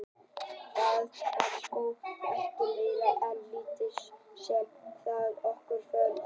Það var sko ekkert meira en lítið sem dró okkur hvort að öðru.